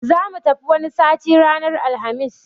Zamu tafi wani sati ranar Alhamis